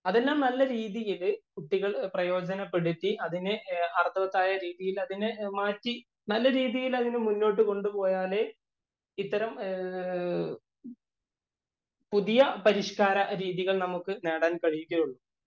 അതെല്ലാം നല്ലരീതിയില്‍ കുട്ടികള്‍ പ്രയോജനപ്പെടുത്തി അതിനെ അര്‍ത്ഥവത്തായ രീതിയില്‍ അതിനെ മാറ്റി നല്ല രീതിയില്‍ അതിനെ മുന്നോട്ടു കൊണ്ടുപോയാലേ ഇത്തരം പുതിയ പരിഷ്കാര രീതികള്‍ നമുക്ക് നേടാന്‍ കഴിയുകയുള്ളൂ.